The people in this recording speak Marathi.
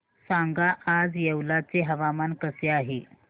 सांगा आज येवला चे हवामान कसे आहे